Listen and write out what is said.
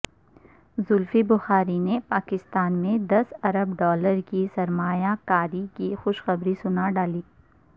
زلفی بخاری نے پاکستان میں دس ارب ڈالر کی سرمایہ کاری کی خوشخبری سنا ڈالی